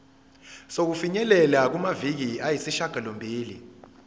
sokufinyelela kumaviki ayisishagalombili